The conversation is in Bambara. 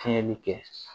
Fiɲɛ bi kɛ